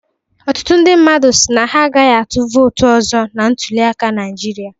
Ọtụtụ ndị mmadụ si na ha agaghị atụ vootụ ọzọ na ntuliaka Naịjirịa